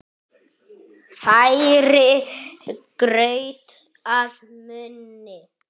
Færir graut að munni.